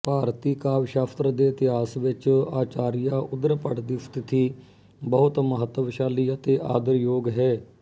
ਭਾਰਤੀ ਕਾਵਿਸਾ਼ਸਤਰ ਦੇ ਇਤਿਹਾਸ ਵਿੱਚ ਆਚਾਰੀਆ ਉਦ੍ਰਭੱਟ ਦੀ ਸਥਿਤੀ ਬਹੁਤ ਮਹੱਤਵਸਾ਼ਲੀ ਅਤੇ ਆਦਰਯੋਗ ਹੈ